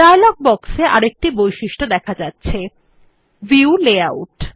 dialogue বক্সে আরেকটি বৈশিষ্ট দেখা যাচ্ছে ভিউ লেআউট